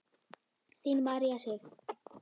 Þín María Sif.